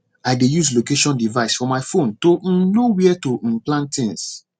i dey use location device for my phone to um know where to um plant things